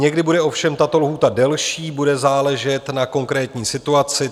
Někdy bude ovšem tato lhůta delší, bude záležet na konkrétní situaci.